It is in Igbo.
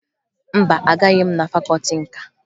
Mba, agaghị m na fakọọti nka